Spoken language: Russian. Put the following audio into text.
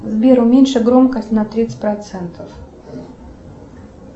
сбер уменьши громкость на тридцать процентов